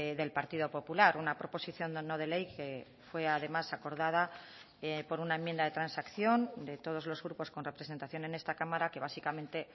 del partido popular una proposición no de ley que fue además acordada por una enmienda de transacción de todos los grupos con representación en esta cámara que básicamente